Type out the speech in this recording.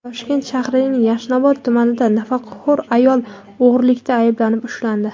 Toshkent shahrining Yashnobod tumanida nafaqaxo‘r ayol o‘g‘rilikda ayblanib ushlandi.